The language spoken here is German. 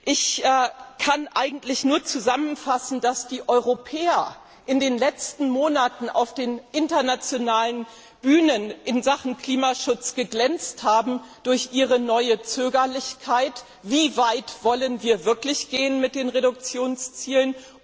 Ich kann eigentlich nur zusammenfassend feststellen, dass die Europäer in den letzten Monaten auf den internationalen Bühnen in Sachen Klimaschutz durch ihre neue Zögerlichkeit wie weit wollen wir wirklich gehen mit den Reduktionszielen?